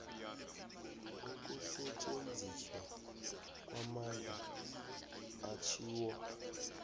ukusetjenziswa kwamandla atjhiwo